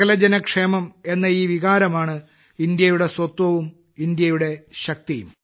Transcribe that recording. സകല ജനക്ഷേമം എന്ന ഈ വികാരമാണ് ഇന്ത്യയുടെ സ്വത്വവും ഇന്ത്യയുടെ ശക്തിയും